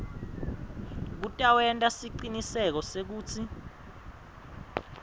kutawenta siciniseko sekutsi